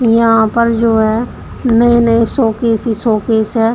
यहां पर जो है नए नए शोकेश ही शोकेश हैं।